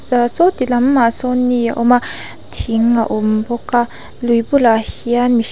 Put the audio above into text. saw ti lam ah sawn ni a awm a thing a awm bawk a lui bulah hian mihr--